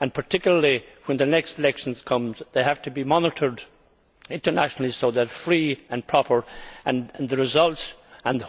Particularly when the next elections come they have to be monitored internationally so that they are free and proper. With regard to the results,